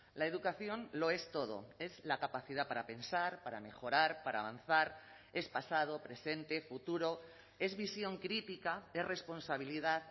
la educación lo es todo es la capacidad para pensar para mejorar para avanzar es pasado presente futuro es visión crítica es responsabilidad